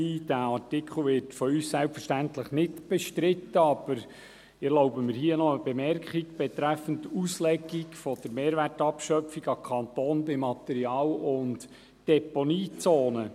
Dieser Artikel wird von uns selbstverständlich nicht bestritten, aber ich erlaube mir hier noch eine Bemerkung an den Kanton betreffend Auslegung der Mehrwertabschöpfung bei Material- und Deponiezone.